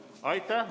Aitäh!